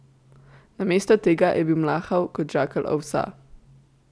Namesto tega je bil mlahav kot žakelj ovsa.